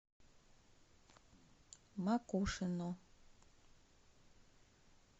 макушино